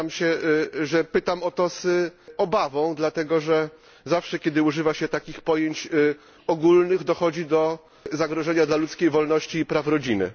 Przyznam się, że pytam o to z obawą, dlatego że zawsze, kiedy używa się takich pojęć ogólnych, dochodzi do zagrożenia dla ludzkiej wolności i praw rodziny.